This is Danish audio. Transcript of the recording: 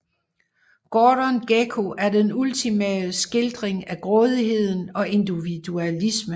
Gordon Gekko er den ultimative skildring af grådigheden og individualisme